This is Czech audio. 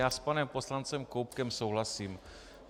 Já s panem poslancem Koubkem souhlasím.